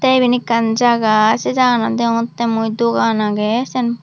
the iben ekkan jaga se jagaganot degongotte mui dogan age.